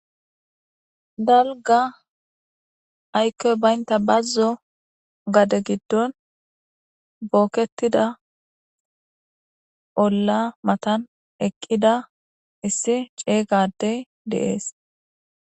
Dalga aykkoy baynta bazzo gade giddon bookketida bolla matan eqqida issi ceeyga ade deees.